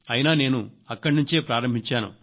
అయినా నేను అక్కడ నుంచే ప్రారంభించాను